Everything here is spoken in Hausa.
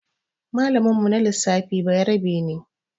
Malamin mu na lissafi bayarabe ne